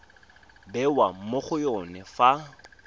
bewa mo go yone fa